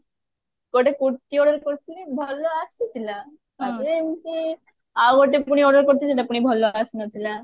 ଗୋଟେ kurti order କରିଥିଲି ଭଲ ଆସିଲା ତାପରେ ଏମତି ଆଉ ଗୋଟେ ପୁଣି order କରିଛି ସେଟା ପୁଣି ଭଲ ଆସିନଥିଲା